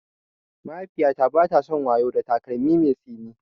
Mahaifiyata bata son wayo da takalmin mai tsini.